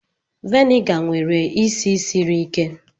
Viniga nwere isi siri ike